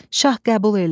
Şah qəbul elədi.